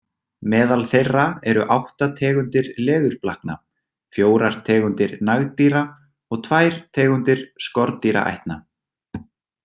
Meðal þeirra eru átta tegundir leðurblakna, fjórar tegundir nagdýra og tvær tegundir skordýraætna.